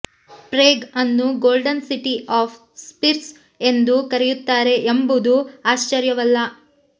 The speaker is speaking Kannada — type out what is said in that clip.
ಪ್ರೇಗ್ ಅನ್ನು ಗೋಲ್ಡನ್ ಸಿಟಿ ಆಫ್ ಸ್ಪಿರ್ಸ್ ಎಂದು ಕರೆಯುತ್ತಾರೆ ಎಂಬುದು ಆಶ್ಚರ್ಯವಲ್ಲ